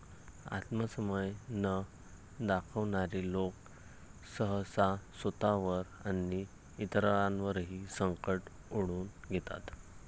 आत्मसंयम न दाखवणारे लोक सहसा स्वतःवर आणि इतरांवरही संकट ओढवून घेतात.